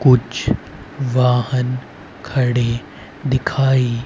कुछ वाहन खड़े दिखाई--